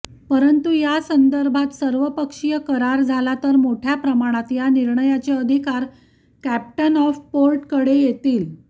परंतु यासंदर्भात सर्वपक्षीय करार झाला तर मोठय़ा प्रमाणात या निर्णयाचे अधिकार कॅप्टन ऑफ पोर्टकडे येतील